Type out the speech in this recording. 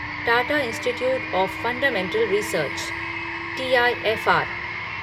Tata institute of fundamental research TIFR